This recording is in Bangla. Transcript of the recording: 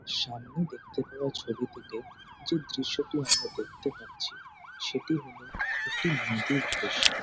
সামনের দেখতে পাওয়া ছবিটিতে যে দৃশ্যটি আমরা দেখতে পাচ্ছি সেটি হল একটি নদীর দৃশ্য।